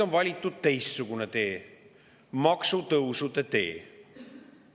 On valitud teistsugune tee, maksutõusude tee.